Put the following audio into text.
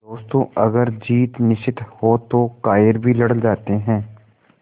दोस्तों अगर जीत निश्चित हो तो कायर भी लड़ जाते हैं